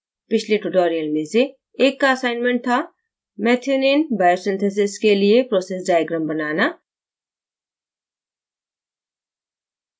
पिछले tutorials में से एक का assignment थाmethionine biosynthesis के लिए process diagram बनाना